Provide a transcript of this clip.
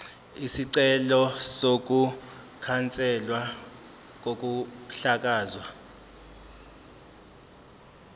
isicelo sokukhanselwa kokuhlakazwa